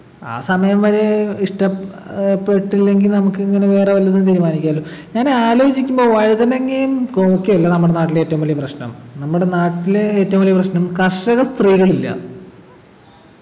ആ സമയം വരെ ഇഷ്ടം ഏർ പെട്ടില്ലെങ്കി നമുക്കിങ്ങനെ വേറെ വല്ലതും തീരുമാനിക്കാലോ ഞാൻ ആലോചിക്കുമ്പോ വഴുതിനങ്ങയും കോവക്കയും അല്ല നമ്മുടെ നാട്ടിലെ ഏറ്റവും വലിയ പ്രശ്നം നമ്മുടെ നാട്ടിലെ ഏറ്റവും വലിയ പ്രശ്നം കർഷകസ്ത്രീകളില്ല